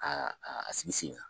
Ka a a sigi